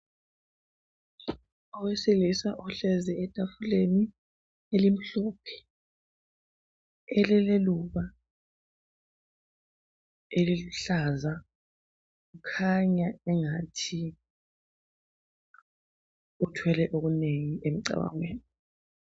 Owesilisa uhlezi etafuleni elimhlophe, elileluba eliluhlaza. Kukhanya ingathi uthwele okunengi emcabangweni.